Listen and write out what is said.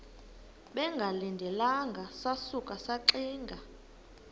bengalindelanga sasuka saxinga